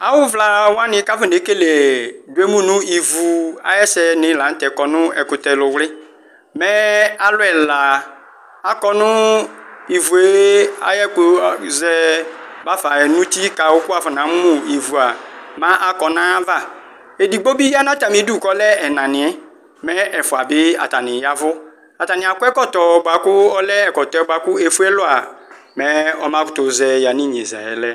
awuvlawani ku akanekele yemʊ nʊ ɩvu ayesɛni latɛ kɔ nʊ ɛkutɛliwli mɛ alʊ ɛla akɔ nu ɩvue ayɛkusɛ bafa nu utikawu ku wakɔna mu ɩvua ku akɔ nu ayava idigbobi ya nu atamidʊ kɔlɛ ɛnaniɛ , mɛ ɛfuabi atani yavu , atani akɔ ɛkɔtɔ kaku ɔlɛ ɛkɔtɔɛ ɛfuelɔ mɛ ɔmakutuzɛ yanu inyezayɛ lɛ